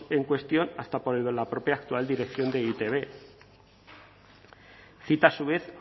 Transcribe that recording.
en cuestión hasta por la propia actual dirección de e i te be cita a su vez